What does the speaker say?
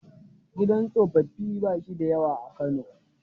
Gidan tsofaffi ba shi da yawa a Kano.